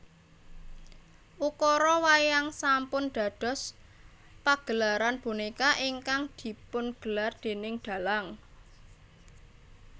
Ukara wayang sampun dados pagelaran bonéka ingkang dipungelar déning dhalang